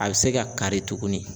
A bɛ se ka kari tuguni